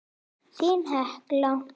Þín Hekla.